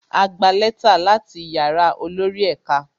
A gba lẹ́tà láti yàrá olórí ẹ̀ka